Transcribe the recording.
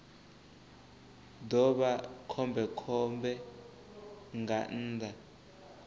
ḓo vha khombekhombe nga nnḓa